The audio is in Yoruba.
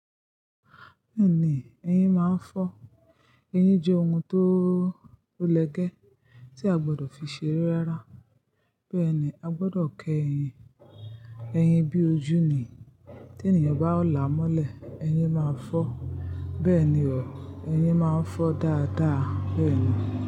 Bẹ́ẹ̀ni, ẹyin máa ń fọ́. Eyín jẹ́ ohun tó, ó lẹ̀gẹ́ tí a gbọdọ̀ fi ṣeré rárá. Bẹ́ẹ̀ni, a gbọdọ̀ kẹ ẹyin. Eyín bí ojú ni. Tí ènìyàn bá la mọ́lẹ̀, ẹyin máa fọ́. Bẹ́ẹ̀ni o, ẹyin máa ń fọ́ dáadáa bẹ́ẹ̀ni.